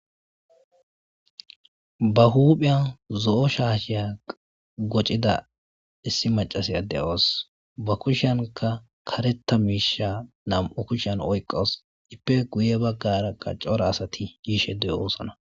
ba huphiyan zo'o shaasheya gocida issi macasi de'awus ba kushanka kareta miisha nam'u kushan oyqqos ippe guye baggaraqa cora asati yiishe de'oosana